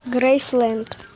грейсленд